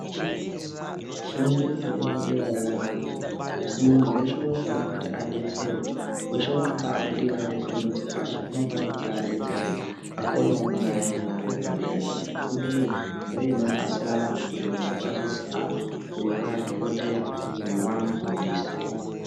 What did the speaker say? Fundo yepadera-dera yakanaka asi muntu veshe anofanira kuti abetserwe veshe anonga abudirira mufundo dzepashi unofana kuti abetserwe akonevo kunganefundo yepadera. Ngekuti fundoiyi ndoinonasira antu kuti antu azonzi aa uyu vadhokoteya uyu vamufundisi.